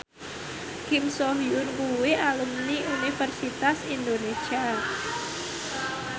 Kim So Hyun kuwi alumni Universitas Indonesia